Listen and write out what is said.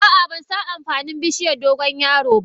Ah ah bansan amfanin bishiyar dogon yaro ba.